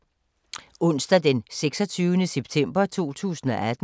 Onsdag d. 26. september 2018